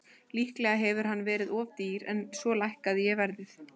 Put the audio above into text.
Líklega hefur hann verið of dýr en svo lækkaði ég verðið.